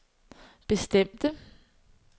bestemte